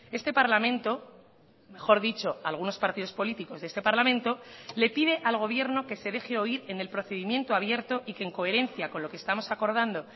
este parlamento mejor dicho algunos partidos políticos de este parlamento le pide al gobierno que se deje oír en el procedimiento abierto y que en coherencia con lo que estamos acordando